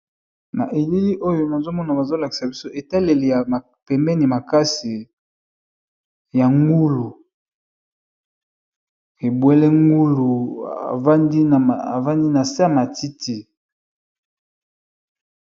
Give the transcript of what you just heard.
Na elili oyo nazomona bazo lakisa biso etaleli ya pembeni makasi ya ngulu ebwele ngulu avandi nase ya matiti